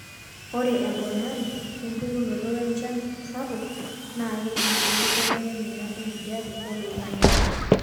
ore embonari empukunoto weenchan sapuk naa keji enkibelekenyata enkijape oloingangi